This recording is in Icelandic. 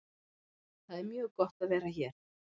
Það er mjög gott að vera hér.